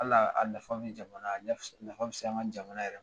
Hali a nafa bɛ jamana a nafa bɛ se an ka jamana yɛrɛ